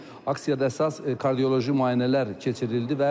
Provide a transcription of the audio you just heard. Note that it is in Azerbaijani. Aksiyada əsas kardioloji müayinələr keçirildi.